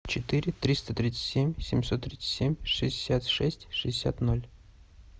четыре триста тридцать семь семьсот тридцать семь шестьдесят шесть шестьдесят ноль